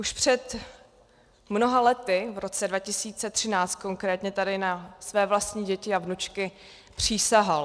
Už před mnoha lety, v roce 2013 konkrétně, tady na své vlastní děti a vnučky přísahal.